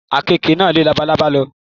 Àkekè náà lé labalábá náà lọ.